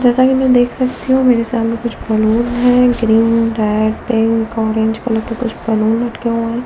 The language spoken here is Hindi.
जैसा कि मैं देख सकती हूं मेरे सामने कुछ बलून है green red pink orange colour के कुछ बलून लटके हुए हैं।